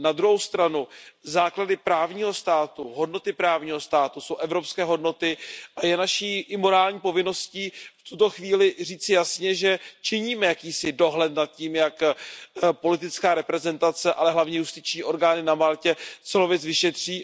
Na druhou stranu základy právního státu, hodnoty právního státu jsou evropské hodnoty a je naší morální povinností v tuto chvíli říci jasně, že činíme jakýsi dohled nad tím, jak politická reprezentace, ale hlavně justiční orgány na Maltě celou věc vyšetří.